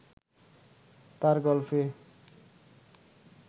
তাঁর গল্পে